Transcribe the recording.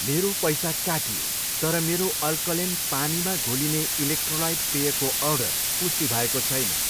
मेरो पैसा काटियो, तर मेरो अल्कलेन पानीमा घोलिने इलेक्ट्रोलाइट पेयको अर्डर पुष्टि भएको छैन।